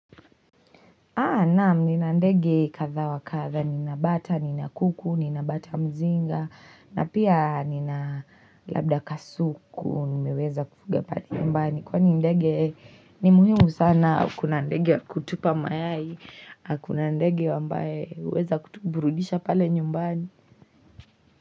Naam, nina ndege katha wa katha. Nina bata, nina kuku, nina batamzinga, na pia nina labda kasuku, nimiweza kufuga hapa nyumbani. Kwani ndege ni muhimu sana. Kuna ndege wa kutupa mayai, na kuna ndege ambae, huweza kutuburudisha pale nyumbani.